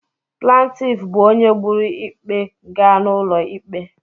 Plantif bụ onye buru ikpe gaa n'ụlọ ikpe.